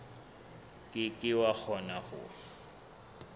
ke ke wa kgona ho